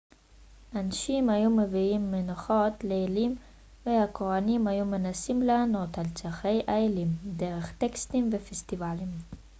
אנשים היו מביאים מנחות לאלים והכוהנים היו מנסים לענות על צרכי האלים דרך טקסים ופסטיבלים